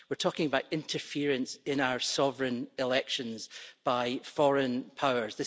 we're talking about interference in our sovereign elections by foreign powers.